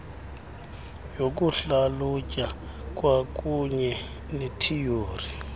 yokuhlalutya kwakuunye nethiyori